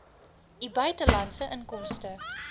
u buitelandse inkomste